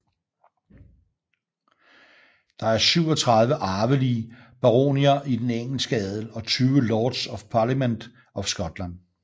Der er 37 arvelige baronier i den engelske adel og 20 Lords of Parliament of Scotland